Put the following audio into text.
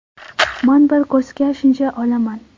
Man bir kursga shuncha olaman.